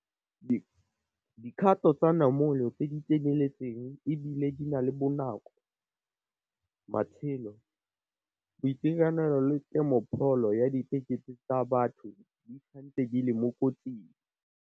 Dikgato tsa namolo tse di tseneletseng e bile di le bonako. Matshelo, boitekanelo le kemopholo ya diketekete tsa batho di santse di le mo kotsing.